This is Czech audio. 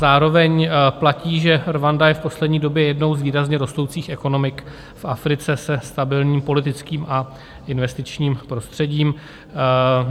Zároveň platí, že Rwanda je v poslední době jednou z výrazně rostoucích ekonomik v Africe se stabilním politickým a investičním prostředím.